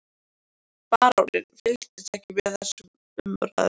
Baróninn fylgdist ekki með þessum umræðum.